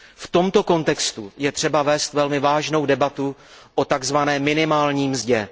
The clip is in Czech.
V tomto kontextu je třeba vést velmi vážnou debatu o takzvané minimální mzdě.